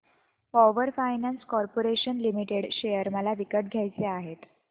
power finance corporation limited share मला विकत घ्यायचे आहेत